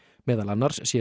meðal annars sé